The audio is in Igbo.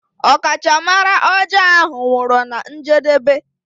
Ọkachamara ọjọọ ahụ nwụrụ na njedebe.